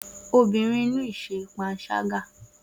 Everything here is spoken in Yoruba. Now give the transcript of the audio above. Obìnrin náà nínú ìṣe panṣágà